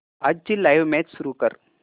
आजची live match सुरू कर